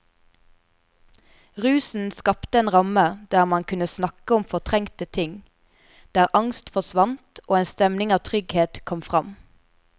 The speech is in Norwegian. Rusen skapte en ramme der man kunne snakke om fortrengte ting, der angst forsvant og en stemning av trygghet kom fram.